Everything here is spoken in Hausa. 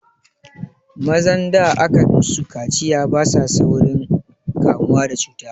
Mazan da aka musu kaciya basa saurin kamuwa da cuta